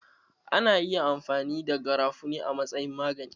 Ana iya amfani da garafuni a matsayin magani